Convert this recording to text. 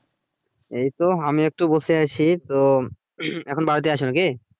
এই তো আমি একটু বসে আছি। তো এখন বাড়িতে আছো নাকি?